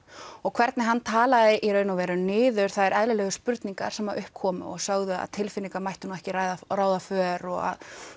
og hvernig hann talar í raun og veru niður það er eðlileg spurningar sem upp komu og sögðu að tilfinningar mættu nú ekki ráða ráða för og að